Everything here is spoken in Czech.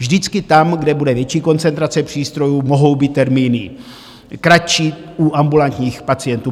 Vždycky tam, kde bude větší koncentrace přístrojů, mohou být termíny kratší u ambulantních pacientů.